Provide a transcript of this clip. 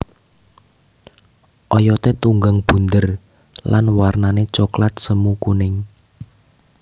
Oyoté tunggang bunder lan warnané coklat semu kuning